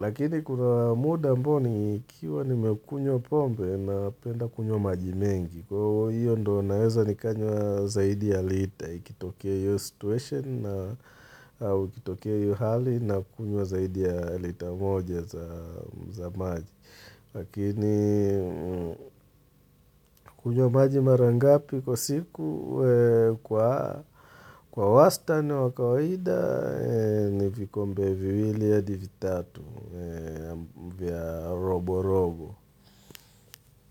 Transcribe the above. Lakini kuna muda ambao nikiwa nimekunywa pombe Napenda kunywa maji mengi Kwa hiyo ndio naweza nikanywa zaidi ya lita ikitokea hiyo situation na ikitokea hio hali nakunywa zaidi ya lita moja za maji. Lakini kunywa maji mara ngapi kwa siku kwa wastani wa kawaida, ni vikombe viwili ya adi vitatu vya robo robo.